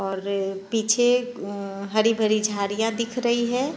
और अ पीछे अ हरी-भरी झाड़ियां दिख रही है।